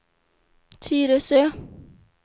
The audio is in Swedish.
Tyresö